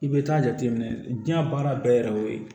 I bɛ taa jateminɛ diɲɛ baara bɛɛ yɛrɛ y'o ye